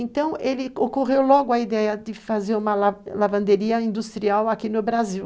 Então, ele, ocorreu logo a ideia de fazer uma, uma lavanderia industrial aqui no Brasil.